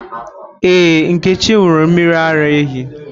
Ee, Nkechi ṅụrụ mmiri ara ehi.